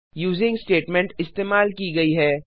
using statement इस्तेमाल की गयी है